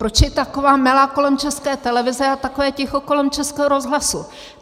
Proč je taková mela kolem České televize a takové ticho kolem Českého rozhlasu?